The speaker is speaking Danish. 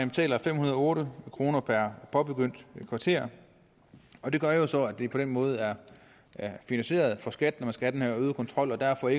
betaler fem hundrede og otte kroner per påbegyndt kvarter og det gør jo så at det på den måde er finansieret for skat når man skal have den her øgede kontrol og derfor